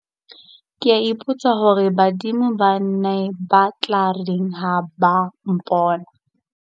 Kea ipotsa hore badimo ba ne ba tla reng ha ba mpona.